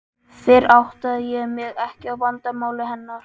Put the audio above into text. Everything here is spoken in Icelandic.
Fyrr áttaði ég mig ekki á vandamáli hennar.